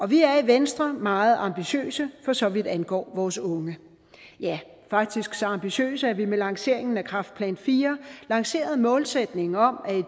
vi er i venstre meget ambitiøse for så vidt angår vores unge ja faktisk så ambitiøse at vi med lanceringen af kræftplan iv lancerede målsætningen om at vi